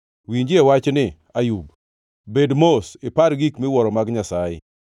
“Winjie wachni, Ayub; bed mos ipar gik miwuoro mag Nyasaye.